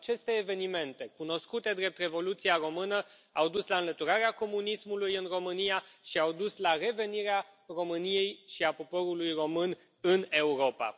Aceste evenimente cunoscute drept Revoluția română au dus la înlăturarea comunismului în România și au dus la revenirea României și a poporului român în Europa.